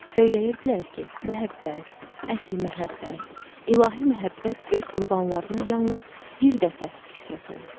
Söyləyirdilər ki, məhəbbət, əsl məhəbbət, İlahi məhəbbət öz qurbanlarına yalnız bir dəfə qismət olur.